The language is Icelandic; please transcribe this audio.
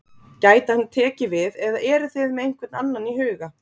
Gæti hann tekið við eða eruð þið með einhvern annan í huga?